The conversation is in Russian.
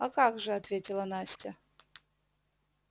а как же ответила настя